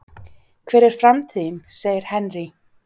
Hver er framtíðin? segir Henry.